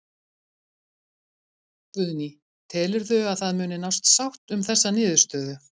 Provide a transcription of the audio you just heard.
Guðný: Telurðu að það muni nást sátt um þessa niðurstöðu?